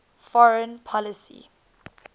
foreign policy